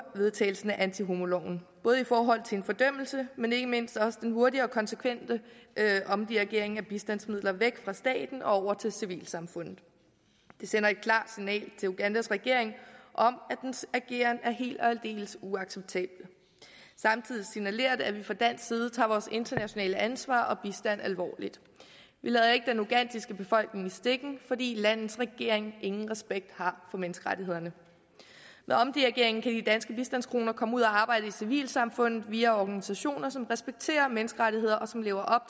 vedtagelsen af antihomoloven både i forhold til en fordømmelse men ikke mindst også den hurtige og konsekvente omdirigering af bistandsmidler væk fra staten og over til civilsamfundet det sender et klart signal til ugandas regering om at dens ageren er helt og aldeles uacceptabel samtidig signalerer det at vi fra dansk side tager vores internationale ansvar alvorligt vi lader ikke den ugandiske befolkning i stikken fordi landets regering ingen respekt har for menneskerettighederne med omdirigeringen kan de danske bistandskroner komme ud og arbejde i civilsamfundet via organisationer som respekterer menneskerettigheder og som lever op